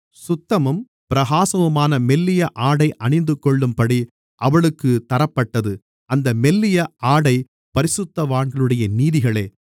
சுத்தமும் பிரகாசமுமான மெல்லிய ஆடை அணிந்துகொள்ளும்படி அவளுக்கு தரப்பட்டது அந்த மெல்லிய ஆடை பரிசுத்தவான்களுடைய நீதிகளே